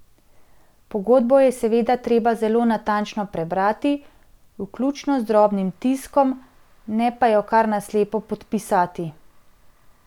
Pogodbo je seveda treba zelo natančno prebrati, vključno z drobnim tiskom, ne pa jo kar na slepo podpisati.